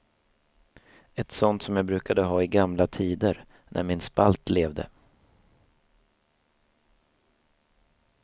Ett sånt som jag brukade ha i gamla tider, när min spalt levde.